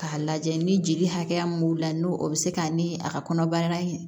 K'a lajɛ ni jeli hakɛya mun b'u la n'o o bi se ka ni a ka kɔnɔbara in